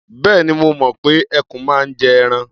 Bẹ́ẹ̀ni, mo mọ̀ pé ẹkùn máa ń jẹ ara.